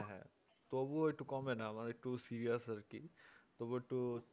হ্যাঁ তবুও একটু কমেনা মানে আমার একটু serious আরকি তবুও একটু